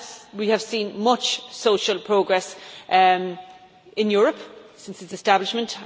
We have seen much social progress in the European Union since its establishment.